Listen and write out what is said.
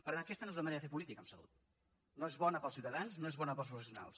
per tant aquesta no és una manera de fer política en salut no és bona per als ciutadans no és bona per als professionals